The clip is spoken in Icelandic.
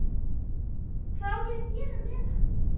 Hvað á ég að gera með hann?